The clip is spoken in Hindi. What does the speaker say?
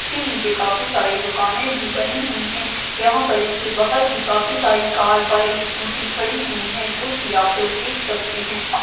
इसके नीचे काफी सारे दुकाने भी बनी हुई है । यहा पर इसके बाहर भी काफी सारी कार बाइकस स्कूटी खड़ी हुई है जोकि आप लोग देख सकते है।